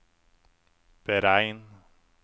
beregn